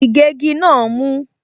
Ìgégi náà mú.